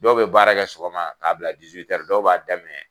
Dɔw bi baara kɛ sɔgɔma k'a bila dɔw b'a daminɛ